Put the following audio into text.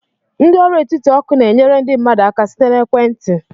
Ndị ọrụ etiti oku na-enyere ndị mmadụ aka site na ekwentị.